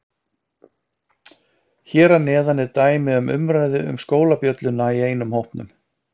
Hér að neðan er dæmi um umræðu um skólabjölluna í einum hópnum